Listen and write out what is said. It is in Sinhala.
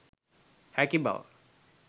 හැකි බව